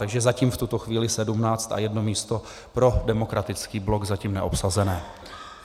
Takže zatím v tuto chvíli 17 a jedno místo pro Demokratický blok - zatím neobsazené.